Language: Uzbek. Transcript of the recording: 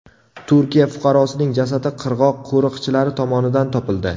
Turkiya fuqarosining jasadi qirg‘oq qo‘riqchilari tomonidan topildi.